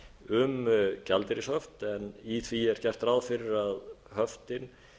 um gjaldeyrishöft en í því er gert ráð fyrir að höftin